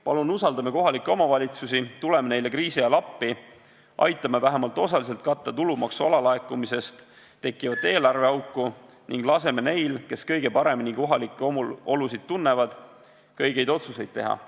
Palun usaldame kohalikke omavalitsusi, tuleme neile kriisi ajal appi, aitame vähemalt osaliselt katta tulumaksu alalaekumisest tekkivat eelarveauku ning laseme neil, kes kõige paremini kohalikke olusid tunnevad, õigeid otsuseid teha.